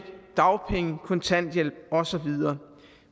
dagpenge kontanthjælp og så videre